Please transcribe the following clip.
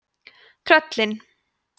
tröllin